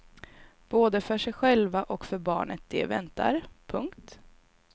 Både för sig själva och för barnet de väntar. punkt